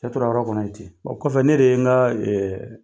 Cɛ tora yɔrɔ kɔnɔ ten wa kɔfɛ ne de ye n ka